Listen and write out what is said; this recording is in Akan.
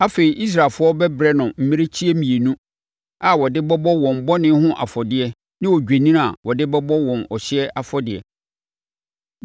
Afei, Israelfoɔ bɛbrɛ no mmirekyie mmienu a wɔde bɛbɔ wɔn bɔne ho afɔdeɛ ne odwennini a wɔde bɛbɔ wɔn ɔhyeɛ afɔdeɛ.